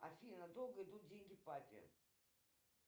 афина долго идут деньги папе